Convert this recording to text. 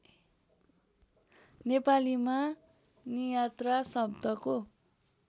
नेपालीमा नियात्रा शब्दको